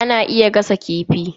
Ana iya gasa kifi.